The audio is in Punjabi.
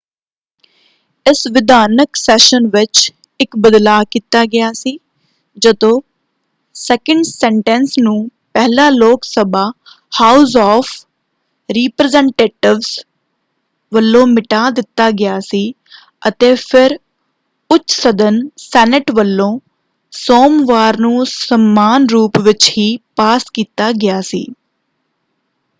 ਇਸ ਵਿਧਾਨਕ ਸੈਸ਼ਨ ਵਿੱਚ ਇੱਕ ਬਦਲਾਅ ਕੀਤਾ ਗਿਆ ਸੀ ਜਦੋਂ ਸੈਕਿੰਡ ਸੈਨਟੈਂਸ ਨੂੰ ਪਹਿਲਾਂ Lok Sabha house of representatives ਵੱਲੋਂ ਮਿਟਾ ਦਿੱਤਾ ਗਿਆ ਸੀ ਅਤੇ ਫਿਰ ਉੱਚ ਸਦਨ ਸੈਨੇਟ ਵੱਲੋਂ ਸੋਮਵਾਰ ਨੂੰ ਸਮਾਨ ਰੂਪ ਵਿੱਚ ਹੀ ਪਾਸ ਕੀਤਾ ਗਿਆ ਸੀ।